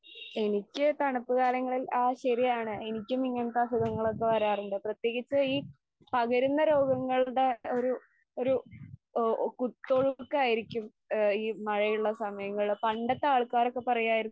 എനിക്ക് തണുപ്പ് കാലങ്ങളിൽ ആ ശരിയാണ്, എനിക്കും ഇങ്ങനത്തെ അസുഖങ്ങളൊക്കെ വരാറുണ്ട്. പ്രത്യേകിച്ച് ഈ പകരുന്ന രോഗങ്ങളുടെ ഒരു ഒരു ഓ കുത്തൊഴുക്കായിരിക്കും ആ ഈ മഴയുള്ള സമയങ്ങള്. പണ്ടത്തെ ആൾക്കാരൊക്കെ പറയുവായിരുന്നു,